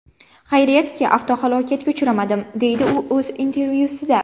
Xayriyatki, avtohalokatga uchramadim”, deydi u o‘z intervyusida.